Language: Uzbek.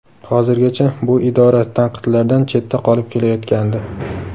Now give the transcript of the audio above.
Hozirgacha bu idora tanqidlardan chetda qolib kelayotgandi.